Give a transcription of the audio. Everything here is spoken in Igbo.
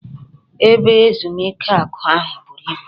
Ebe ezumike aku ahu buru ibu